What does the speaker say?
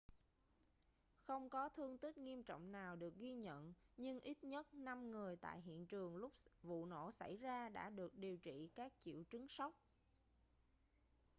không có thương tích nghiêm trọng nào được ghi nhận nhưng ít nhất năm người tại hiện trường lúc vụ nổ xảy ra đã được điều trị các triệu chứng sốc